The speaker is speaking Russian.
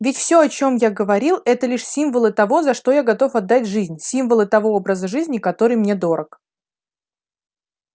ведь все о чем я говорил это лишь символы того за что я готов отдать жизнь символы того образа жизни который мне дорог